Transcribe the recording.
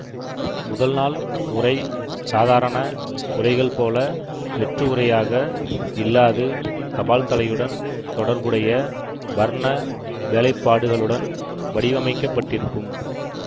முதல் நாள் உறை சாதாரண உறைகள் போல வெற்று உறையாக இல்லாது தபால்தலையுடன் தொடர்புடைய வர்ண வேலைப்பாடுகளுடன் வடிவமைக்கப்பட்டிருக்கும்